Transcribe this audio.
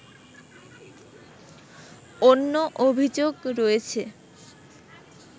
অন্য অভিযোগ রয়েছে